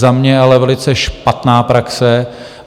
Za mě ale velice špatná praxe.